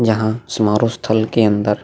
यहां समारो स्थल के अंदर --